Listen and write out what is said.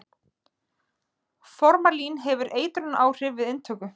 Formalín hefur eitrunaráhrif við inntöku.